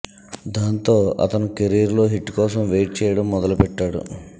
దాంతో అతని కెరీర్ లో హిట్ కోసం వెయిట్ చేయడం మొదలుపెట్టాడు